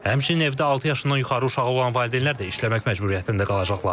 Həmçinin evdə altı yaşından yuxarı uşağı olan valideynlər də işləmək məcburiyyətində qalacaqlar.